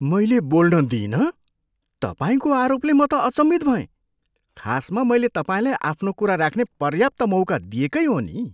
मैले बोल्न दिइनँ तपाईँको आरोपले म त अचम्भित भएँ। खासमा मैले तपाईँलाई आफ्नो कुरा राख्ने पर्याप्त मौका दिएकै हो नि।